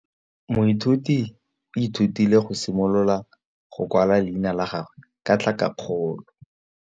Moithuti o ithutile go simolola go kwala leina la gagwe ka tlhakakgolo.